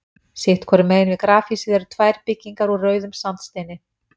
Sitt hvoru megin við grafhýsið eru tvær byggingar úr rauðum sandsteini.